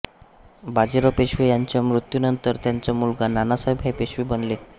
बाजीराव पेशवे यांच्या मृत्यूनंतर त्यांचा मुलगा नानासाहेब हे पेशवे बनले